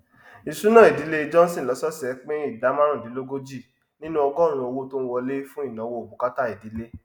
ìṣúná ìdílé johnson lọsọọsẹ pin ìdá márùndínlógójì nínú ọgọrùnún owó tó n wọlé fun ìnáwó bùkátà ìdìlé